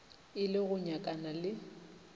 e le go nyakana le